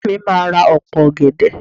Ìyá mi máà ra opo ọ̀gẹ̀dẹ̀.